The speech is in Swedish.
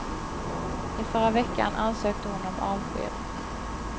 I förra veckan ansökte hon om avsked.